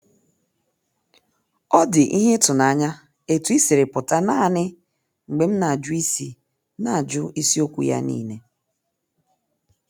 Ọ dị ihe ịtụnanya etu ị siri pụta naanị mgbe m na-ajụ isi na-ajụ isi okwu ya niile.